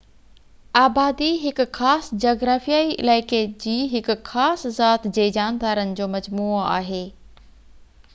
آبادي هڪ خاص جغرافيائي علائقي جي هڪ خاص ذات جي جاندارن جو مجموعو آهي